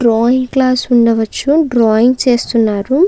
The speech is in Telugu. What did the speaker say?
డ్రాయింగ్ క్లాస్ ఉండవచ్చు. డ్రాయింగ్ చేస్తున్నారు.